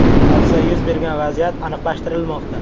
Hodisa yuz bergan vaziyat aniqlashtirilmoqda.